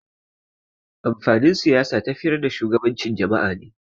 Amfanin Siyasa tafiyar da shugabancin jama'a ne.